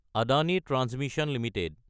Adani transmission Ltd